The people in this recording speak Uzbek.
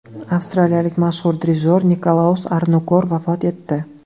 Avstriyalik mashhur dirijor Nikolaus Arnonkur vafot etdi.